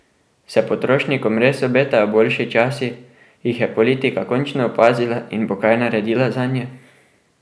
Se potrošnikom res obetajo boljši časi, jih je politika končno opazila in bo kaj naredila zanje?